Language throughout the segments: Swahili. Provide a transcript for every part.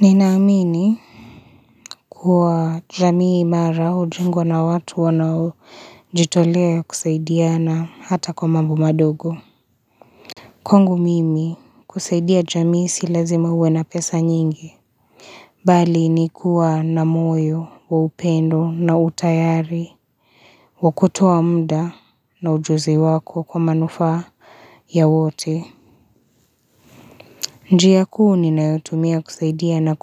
Ninaamini kuwa jamii imara ujengwa na watu wanaojitolea kusaidiana hata kwa mambo madogo. Kwangu mimi kusaidia jamii si lazima uwe na pesa nyingi. Bali ni kuwa na moyo wa upendo na utayari. Kwa kutoa mda na ujuzi wako kwa manufaa ya wote. Njiya kuu ninayotumia kusaidiana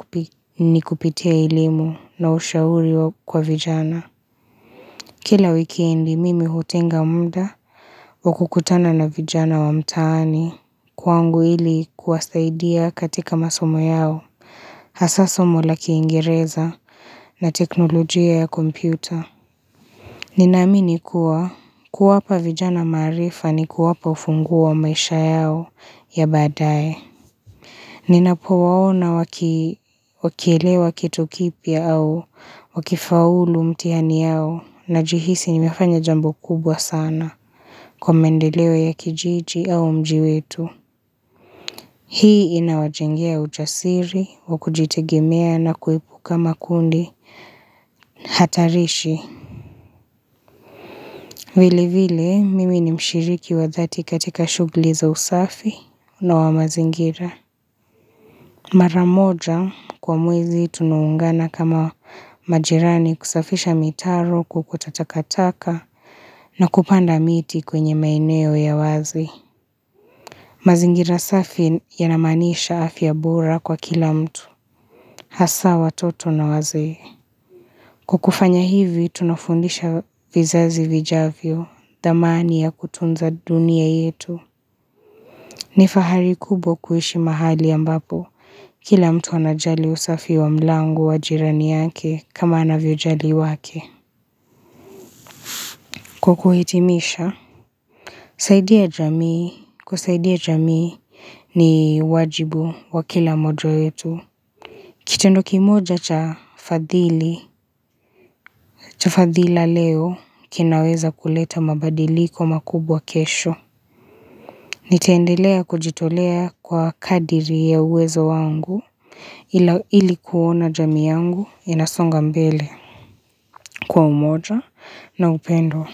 ni kupitia elimu na ushauri kwa vijana. Kila wikendi mimi hutenga muda wa kukutana na vijana wa mtaani kwangu ili kuwasaidia katika masomo yao, hasa somo la kiingereza na teknolojia ya kompyuta. Ninaamini kuwa kuwapa vijana maarifa ni kuwapa ufunguo wa maisha yao ya badae. Ninapowaona wakielewa kitu kipya au wakifaulu mtiani yao najihisi nimefanya jambo kubwa sana kwa maendeleo ya kijiji au mji wetu Hii inawajengea ujasiri wa kujitegemea na kuepuka makundi hatarishi Vili vili mimi ni mshiriki wa dhati katika shugli za usafi na wa mazingira Mara moja kwa mwezi tunuungana kama majirani kusafisha mitaro kuokota takataka na kupanda miti kwenye maeneo ya wazi. Mazingira safi yanamanisha afya bora kwa kila mtu, hasa watoto na wazee Kwa kufanya hivi tunafundisha vizazi vijavyo, dhamani ya kutunza dunia yetu. Ni fahari kubwa kuishi mahali ambapo, kila mtu anajali usafi wa mlango wa jirani yake kama anavyojali wake. Kwa kuhitimisha, kusaidia jamii ni wajibu wa kila moja wetu. Kitendo kimoja cha fadhila leo kinaweza kuleta mabadiliko makubwa kesho. Nitaendelea kujitolea kwa kadiri ya uwezo wangu Ili kuona jamii yangu inasonga mbele kwa umoja na upendo.